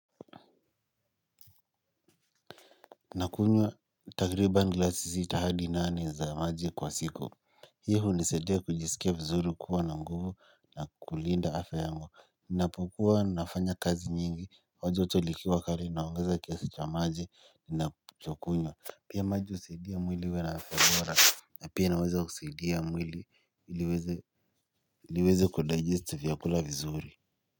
Nakunywa takribani gilasi sita hadi nane za maji kwa siku. Hii hunisaidia kujisikia vizuri kuwa na nguvu na kulinda afya yangu. Ninapokuwa nafanya kazi nyingi au joto likiwa kali naongeza kiasi cha maji ninachokunywa. Pia maji husaidia mwili uwe na afya bora, na pia inaweza husaidia mwili ili iweze kudigest vyakula vizuri.